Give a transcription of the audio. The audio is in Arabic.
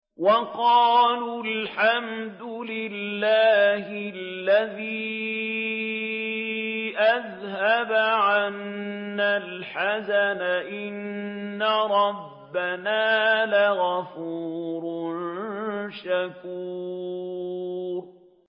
وَقَالُوا الْحَمْدُ لِلَّهِ الَّذِي أَذْهَبَ عَنَّا الْحَزَنَ ۖ إِنَّ رَبَّنَا لَغَفُورٌ شَكُورٌ